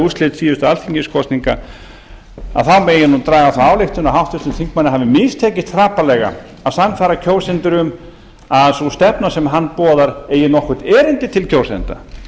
úrslit síðustu alþingiskosninga megi nú draga þá ályktun að háttvirtum þingmanni hafi mistekist hrapallega að sannfæra kjósendur um að sú stefna sem hann boðar eigi nokkurt erindi til kjósenda